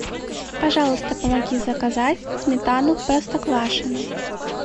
пожалуйста помоги заказать сметану простоквашино